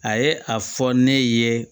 A ye a fɔ ne ye